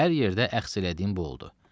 Hər yerdə əxs elədiyim bu oldu.